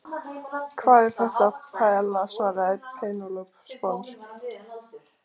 Hvað er þetta? Paiella, svaraði Penélope sponsk.